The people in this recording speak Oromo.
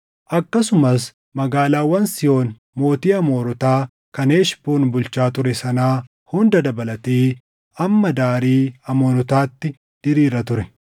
akkasumas magaalaawwan Sihoon mootii Amoorotaa kan Heshboon bulchaa ture sanaa hunda dabalatee hamma daarii Amoonotaatti diriira ture.